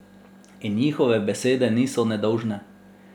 In njihove besede niso nedolžne.